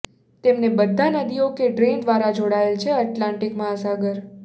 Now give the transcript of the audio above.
તેમને બધા નદીઓ કે ડ્રેઇન દ્વારા જોડાયેલ છે એટલાન્ટિક મહાસાગર